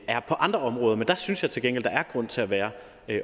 er på andre områder men der synes jeg til gengæld der er grund til at være